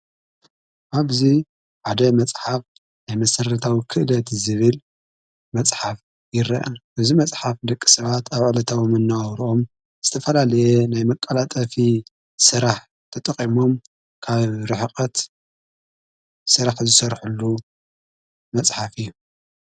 ኣብዙይ ሓደ መጽሓፍ ናይ መሠረታዊ ክእለት ዝብል መጽሓፍ ይርአን እዚ መጽሓፍ ደቂ ሰዓት ኣብዕለታዉምና ኣውርኦም ዝተፋላልየ ናይ መቃላጠፊ ሥራሕ ተጠቐሞም ካብ ርሕቐት ሥራሕ ዝሠርሕሉ መጽሓፍ እዩ።